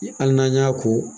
hali n'an y'a ko?